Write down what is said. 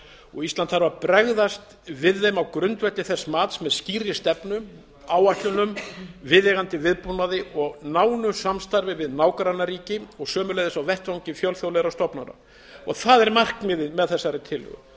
og ísland þarf að bregðast við þeim á grundvelli þess mats sem með skýrri stefnu áætlunum viðeigandi viðbúnaði og nánu samstarfi við nágrannaríki og sömuleiðis á vettvangi fjölþjóðlegra stofnana það er markmiðið með þessari tillögu